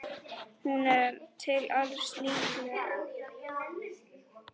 Hún er til alls líkleg.